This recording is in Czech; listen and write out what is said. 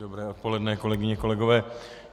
Dobré odpoledne, kolegyně, kolegové.